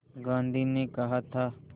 गांधी ने कहा था